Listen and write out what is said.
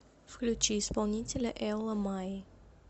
включи исполнителя элла май